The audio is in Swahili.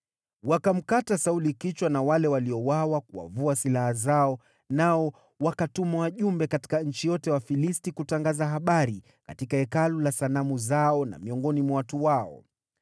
Wakamkata Sauli kichwa na kumvua silaha zake, nao wakatuma wajumbe katika nchi yote ya Wafilisti kutangaza habari katika hekalu la sanamu zao na miongoni mwa watu wao.